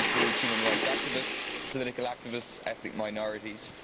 These include human rights activists, political activists, ethnic minorities.